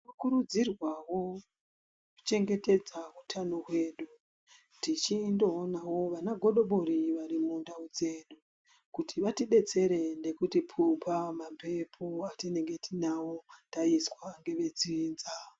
Tinokurudzirwawo kuchengetedza utano hwedu, tichindoonawo vanagodobori vari mundau dzedu kuti vatidetsere nekutipupa mamphepo atinenge tinawo taiswa ngevedzinza.